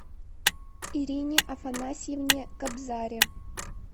ирине афанасьевне кобзаре